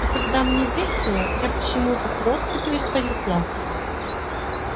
а когда мне весело я почему то просто перестаю плакать